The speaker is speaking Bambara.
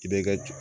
I bɛ ka